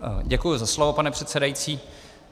Děkuji za slovo, pane předsedající.